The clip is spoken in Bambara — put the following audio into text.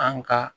An ka